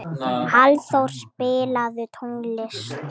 Hallþór, spilaðu tónlist.